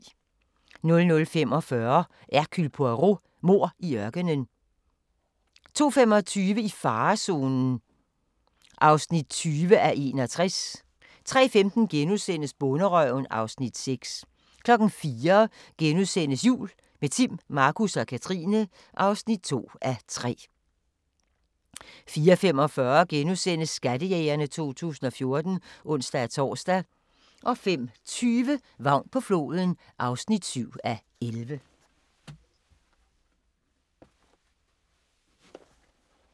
00:45: Hercule Poirot: Mord i ørkenen 02:25: I farezonen (20:61) 03:15: Bonderøven (Afs. 6)* 04:00: Jul – med Timm, Markus og Katrine (2:3)* 04:45: Skattejægerne 2014 *(ons-tor) 05:20: Vagn på floden (7:11)